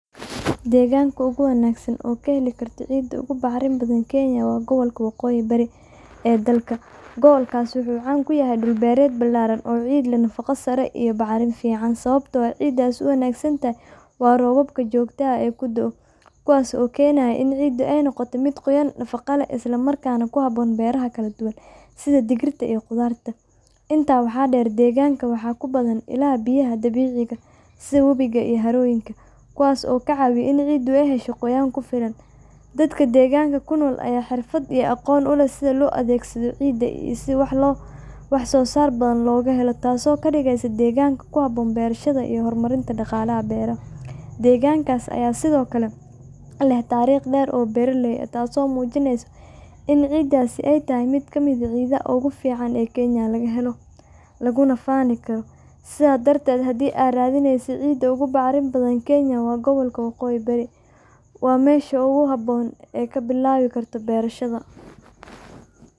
Deganka oguwanagsan oo kahelikarto ciida ugu bacrin badan kenya wa gobolka wagoyin bari ee dalka, gabalkas wuxu caan kuyahay dul beret baralan oo leh nafago sare iyo bacramin ficaan, sawabto ah ciidas waxay uwanagsantahay roobabka jogtada ah, kuwas oo kenay inay nogoto mid nafago leh islamarkana kuhaboon beraha kaladuwan, sidha digirta iyo qudarta, inta waxa deer deganka waxa kubadan ilaha biyaha dabiciga sidha wobiga iyo haroyinka kuwas oo kacawiya in ay hesho qoyaan kufiilan, dadka deganka sida ciida wahsosar badan leh taaso kadigeysa diganka kuhaboon berashada iyo hormarinta daqalaha beraha, degankas aya Sidhokale leh tarig deer oo beraley ah taaso mujinayso in ciidasi ay tahay mid kamid ah ciidaha ogufican ee kenya lagahelo, lagunafanikaro sida dartet hafhi aad radineysey ciida ogubactimin badan kenya wa qabolka wagoyi barii, wa mesha oguhaboon ee kuberankarto berashada.